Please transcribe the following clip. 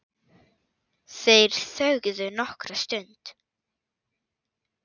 Þeir þögðu nokkra stund.